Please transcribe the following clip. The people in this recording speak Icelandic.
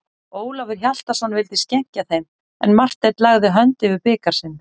Ólafur Hjaltason vildi skenkja þeim, en Marteinn lagði hönd yfir bikar sinn.